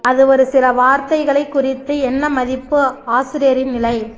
அது ஒரு சில வார்த்தைகளைக் குறித்து என்ன மதிப்பு ஆசிரியரின் நிலை